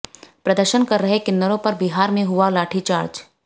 प्रदर्शन कर रहे किन्नरों पर बिहार में हुआ लाठीचार्ज